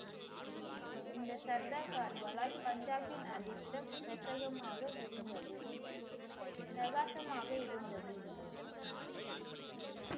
இந்த சர்தார்காரர்களால் பஞ்சாபின் அதிர்ஷ்டம் பிரகாசமாக இருந்தது. பிரகாசமாக இருந்தது.